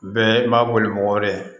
Bɛɛ b'a boli mɔgɔ wɛrɛ